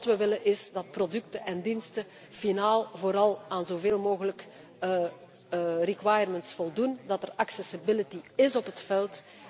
Want wat wij willen is dat producten en diensten finaal vooral aan zo veel mogelijk requirements voldoen. Dat er accessability is op het veld.